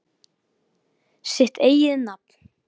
Sitt eigið nafn.